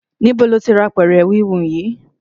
Níbo lo ti ra apẹ̀rẹ̀ híhun yìí?